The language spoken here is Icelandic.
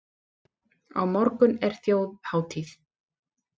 Á morgun er þjóðhátíð.